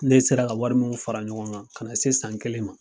Ne sera ka wari mun fara ɲɔgɔn kan, ka na se san kelen ma